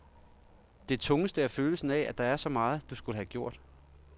Det tungeste er følelsen af, at der er så meget, du skulle have gjort.